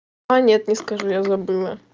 а нет не скажу я забыла